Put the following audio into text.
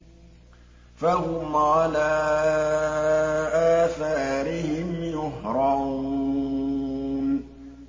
فَهُمْ عَلَىٰ آثَارِهِمْ يُهْرَعُونَ